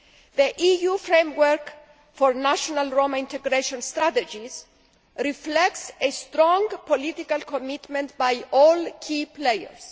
The EU Framework for National Roma Integration Strategies' reflects a strong political commitment by all key players.